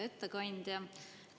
Hea ettekandja!